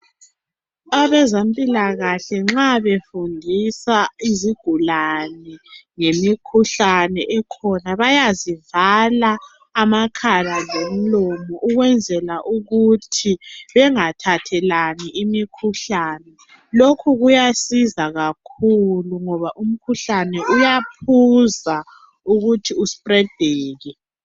abezempulakahle nxa befundisa izigulane ngemikhuhlane ekhona bayazivala amakhala lomlomo ukwenzela ukuthi bengathathelani imikhuhlane lokhu kuyasiza kakhulu ngoba umkhuhlane uyaphuza ukuthi u spredeke